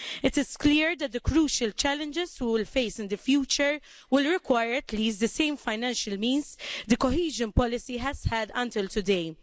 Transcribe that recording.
It is clear that the crucial challenges we will face in the future will require at least the same financial means the cohesion policy has had until today.